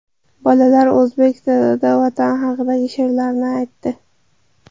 Bolalar o‘zbek tilida Vatan haqidagi she’rlarni aytdi.